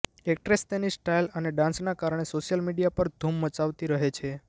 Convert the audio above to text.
actress તેની style અને ડાન્સના કારણે સોશિયલ મીડિયા પર ધુમ મચાવતી રહે છે